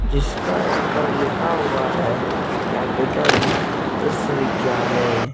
जिसका ऊपर लिखा हुआ है कैपिटल विश्वविद्याल --